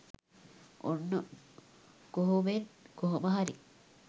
ඔන්න කොහොමෙන් කොහොම හරි